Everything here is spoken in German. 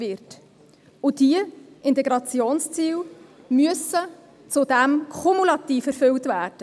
Zudem müssen diese Integrationsziele kumulativ erfüllt werden.